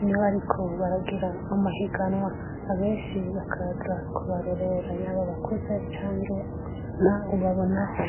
inewe, ariko baragira amahiganwa abenshi bakaza kubarorera yabo bakuze canke anta ubabonaho.